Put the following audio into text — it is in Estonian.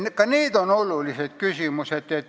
Ka need on olulised küsimused.